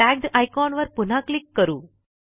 tagged icon वर पुन्हा click करू